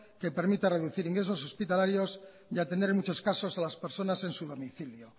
que permite reducir ingresos hospitalarios y atender en muchas casos a las personas en su domicilio